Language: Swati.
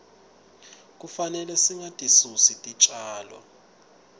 kufanele singatisusi titjalo